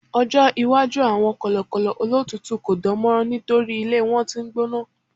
ọjọ iwaju awọn kọlọkọlọ olotutu ko dánmọrán nitori ilé wan t'in n gbóná